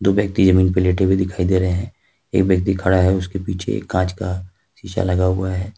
दो व्यक्ति जमीन पे लेटे हुए दिखाई दे रहे हैं एक व्यक्ति खड़ा है उसके पीछे एक कांच का शीशा लगा हुआ है।